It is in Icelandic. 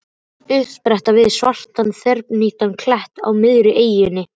Uppspretta við svartan þverhníptan klett á miðri eyjunni.